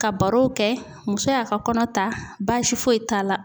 Ka barow kɛ muso y'a ka kɔnɔ ta baasi foyi t'a la